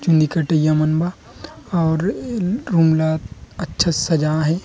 चुंदी कटाईयया मन म और रूम ल अच्छा से सजाए हे।